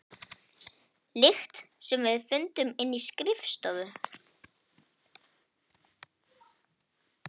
lykt sem við fundum inni á skrifstofu.